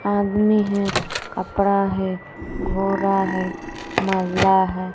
आदमी है कपड़ा है घोड़ा है महिला है।